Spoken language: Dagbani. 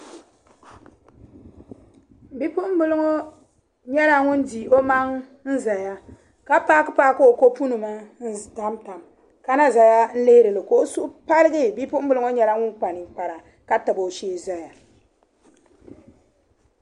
Bipuɣimbila ŋɔ nyɛla ŋun di o maŋa n-zaya ka paakipaaki o kopunima n-tamtam ka na zaya n-lihiri li ka o suhu paligi. Bipuɣimbila ŋɔ nyɛla ŋun kpa niŋkpara ka tabi o shee zaya.